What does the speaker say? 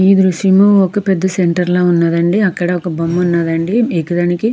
ఈ దృశ్యంలో ఒక పెద్ద సెంటర్ లా ఉన్నదండి అక్కడొక బొమ్మ ఉన్నాదండి .